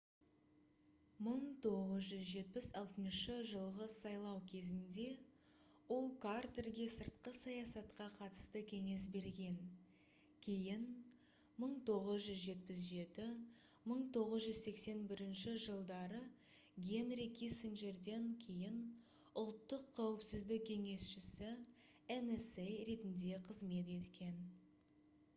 1976 жылғы сайлау кезінде ол картерге сыртқы саясатқа қатысты кеңес берген кейін 1977-1981 жылдары генри киссинджерден кейін ұлттық қауіпсіздік кеңесшісі nsa ретінде қызмет еткен